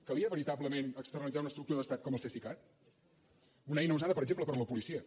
calia veritablement externalitzar una estructura d’estat com el cesicat una eina usada per exemple per la policia